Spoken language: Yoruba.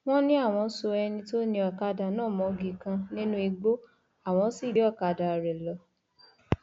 wọn ní àwọn so ẹni tó ni ọkadà náà mọgi kan nínú igbó àwọn sì gbé ọkadà rẹ lọ